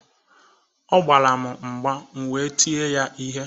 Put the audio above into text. Ọ gbara m mgba, m wee tie ya ihe